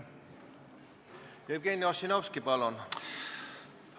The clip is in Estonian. Jevgeni Ossinovski, palun!